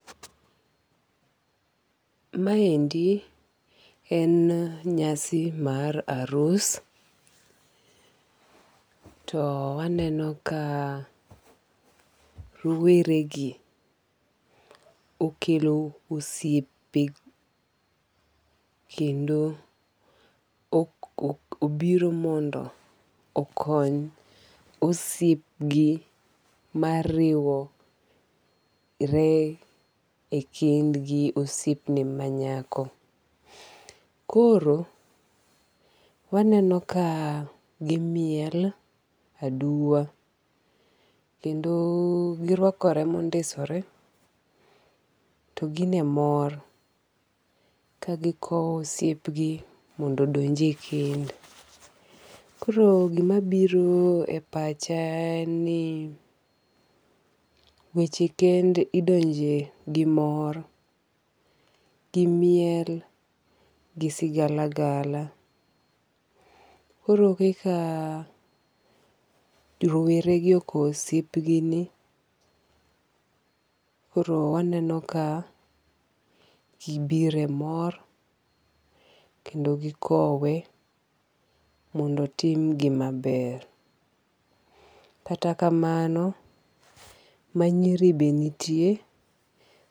Ma endi en nyasi mar arus. To aneno ka rowere gi okelo osiepe kendo obiro mondo okony osiep gi mariwore e kend gi osiep ne ma nyako. Koro waneno ka gimiel aduwa kendo girwakore mondisore to gin e mor kagikowo osiep gi mondo odonj e kend. Koro gima biro e pacha en ni weche kend idonje gi mor, gi miel, gi sigalagala. Koro kaka rowere gi okow osiep gi ni koro waneno ka gibire mor kendo gikowe mondo otim gima ber. Kata kamano manyiri be nitie.